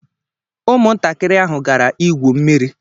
Ụmụntakịrị ahụ gara igwu mmiri